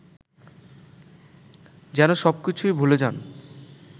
যেনো সবকিছুই ভুলে যান